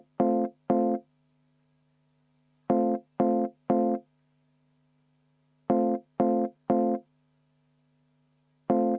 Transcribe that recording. V a h e a e g